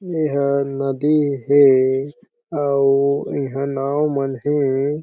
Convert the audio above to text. एह नदी हे अउ इहा नाव मन हे।